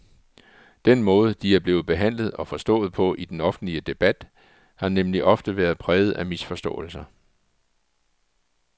Den måde, de er blevet behandlet og forstået på i den offentlige debat, har nemlig ofte været præget af misforståelser.